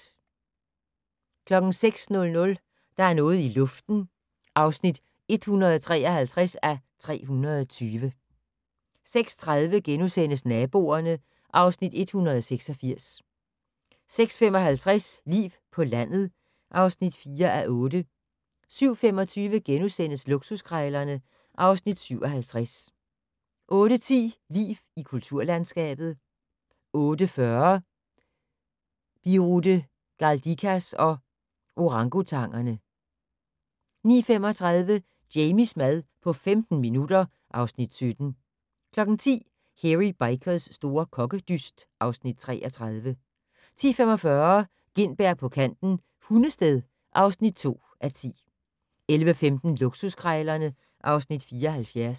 06:00: Der er noget i luften (153:320) 06:30: Naboerne (Afs. 186)* 06:55: Liv på landet (4:8) 07:25: Luksuskrejlerne (Afs. 57)* 08:10: Liv i kulturlandskabet 08:40: Birute Galdikas og orangutangerne 09:35: Jamies mad på 15 minutter (Afs. 17) 10:00: Hairy Bikers' store kokkedyst (Afs. 33) 10:45: Gintberg på kanten - Hundested (2:10) 11:15: Luksuskrejlerne (Afs. 74)